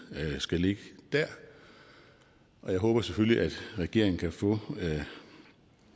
skal ligge der og jeg håber selvfølgelig at regeringen kan få